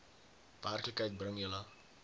werklikheid bring julle